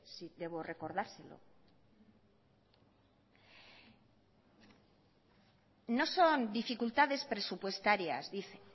si debo recordárselo no son dificultades presupuestarias dice